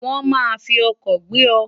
won ma fi oko gbe o